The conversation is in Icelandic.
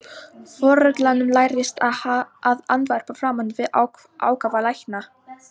Foreldrum lærist að andvarpa framan við ákafa lækna.